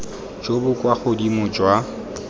jo bo kwa godimo jwa